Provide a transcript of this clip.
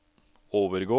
overgå